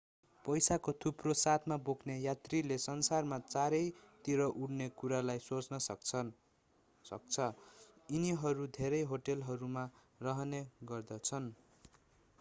पैसाको थुप्रो साथमा बोक्ने यात्रीले संसारमा चारैतिर उड्ने कुरालाई सोच्न सक्छ यिनीहरू धेरै होटलहरूमा रहने गर्दछन्